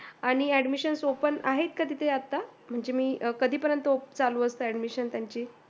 आण Admission open आहेत का आता माणजे कधी परेएनत चालू असते तयांचे